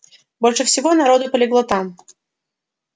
больше всего народу полегло там